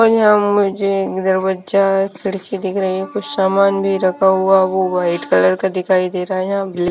और यहां पर मुझे दरवाजा खिड़की दिख रही है। कुछ सामान भी रखा हुआ वह वाइट कलर का दिखाई दे रहा है। यहां ब्लैक--